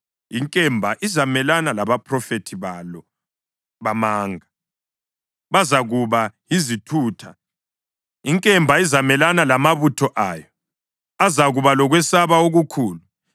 Inkemba izamelana labaphrofethi balo bamanga! Bazakuba yizithutha. Inkemba izamelana lamabutho ayo! Azakuba lokwesaba okukhulu.